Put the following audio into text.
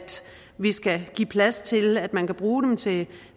vi skal give plads til at man kan bruge dem til